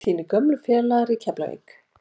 Þínir gömlu félagar í Keflavík?